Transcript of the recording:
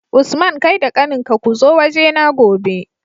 Usman kai da kanin ka kuzo waje na gobe